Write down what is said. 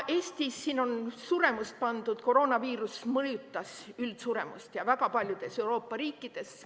Edasi on siin suremus näidatud – koroonaviirus mõjutas üldsuremust väga paljudes Euroopa riikides.